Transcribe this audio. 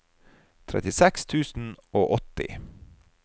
trettiseks tusen og åtti